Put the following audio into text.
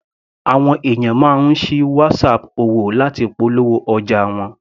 Àwọn ènìyàn máa ń sí Whatsapp òwò láti polówó ọjà wọn.